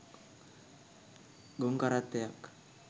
ගොන් කරත්තයක්.